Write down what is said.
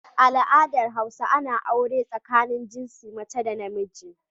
A al adar hausa Ana aure tsakanin jinsin mace da namiji